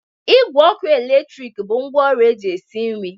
Igwe ọkụ eletrik bụ ngwaọrụ eji esi nri